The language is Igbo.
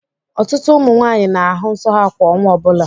Ọtụtụ ụmụ nwaanyị ga-ahù nso ha kwa ọnwa ọbụla.